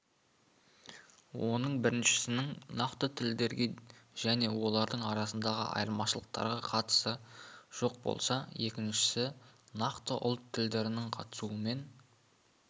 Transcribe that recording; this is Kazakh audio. оның біріншісінің нақты тілдерге және олардың арасындағы айырмашылықтарға қатысы жоқ болса екіншісі нақты ұлт тілдерінің қатысуымен